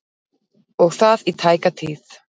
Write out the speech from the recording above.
Og það í tæka tíð.